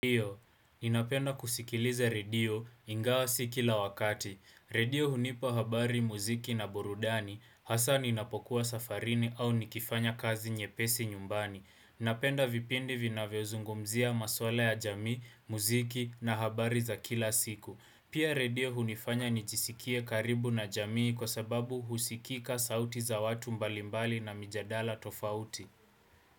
Ndiyo, ninapenda kusikiliza redio ingawa si kila wakati. Radio hunipa habari muziki na burudani, hasa ninapokuwa safarini au nikifanya kazi nyeesi nyumbani. Napenda vipindi vina vyo zungumzia maswala ya jamii, muziki na habari za kila siku. Pia radio hunifanya nijisikie karibu na jamii kwa sababu husikika sauti za watu mbalimbali na mijadala tofauti.